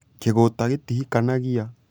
kĩgũta gĩtihikanagĩa?